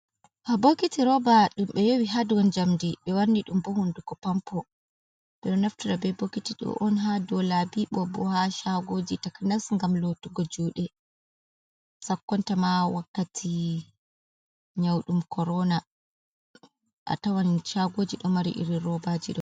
Nda bokiti roba, ɗum ɓe yowi haa dou njamndi. Ɓe wanni ɗum bo hunduko pampo. Ɓe ɗo naftira be bokiti ɗo on haa dou laabi ko bo haa shaagoji takanas ngam lotugo juuɗe, sakkonta ma wakkati nyau ɗum Korona. A tawan shaagoji ɗo mari irin roba ji ɗo.